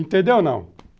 Entendeu ou não?